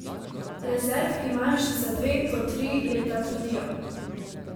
Rezerv imajo še za dve to tri leta, trdijo.